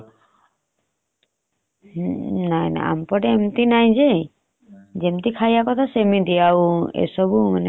ନାଇ ନାଇ ଆମ ପଟେ ଏମତି ନାହି ଯେ ଯେମିତି ଖାଇବା କଥା ସେମିତି ଆଉ ଏସବୁ tasting ନାହି। ହେଲେ ବି ଏସବୁ noodles ଅଗଏର ବାଗଏର ଯୋଉ ଖାଉଛନ୍ତି ସେଗୁଡା କମେଇଦେଲେ ମାନେ ସିଝା ଫଳ କଞ୍ଚା ପନିପରିବା ସବୁ ଖାଇଲେ ଆମ ପାଇଁ ଭଲ ଆଉ।